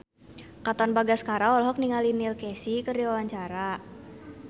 Katon Bagaskara olohok ningali Neil Casey keur diwawancara